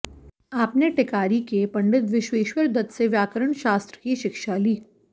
आपने टिकारी के पंडित विश्वेश्वर दत्त से व्याकरण शास्त्र की शिक्षा ली